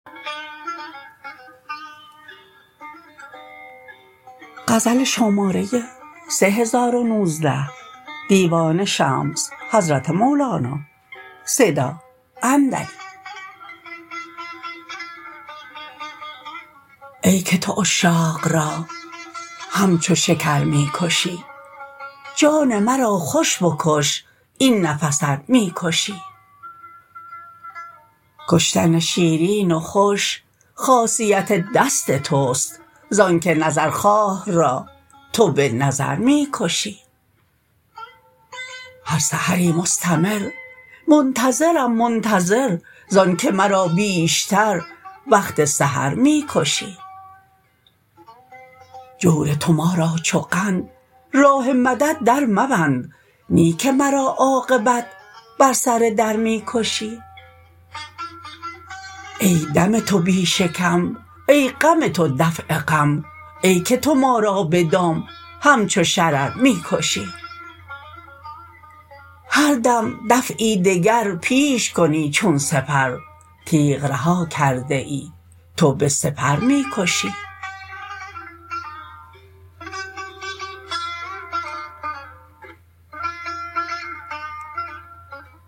ای که تو عشاق را همچو شکر می کشی جان مرا خوش بکش این نفس ار می کشی کشتن شیرین و خوش خاصیت دست توست زانک نظرخواه را تو به نظر می کشی هر سحری مستمر منتظرم منتظر زانک مرا بیشتر وقت سحر می کشی جور تو ما را چو قند راه مدد درمبند نی که مرا عاقبت بر سر در می کشی ای دم تو بی شکم ای غم تو دفع غم ای که تو ما را به دام همچو شرر می کشی هر دم دفعی دگر پیش کنی چون سپر تیغ رها کرده ای تو به سپر می کشی